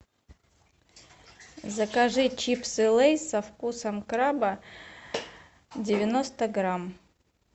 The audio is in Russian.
закажи чипсы лейс со вкусом краба девяносто грамм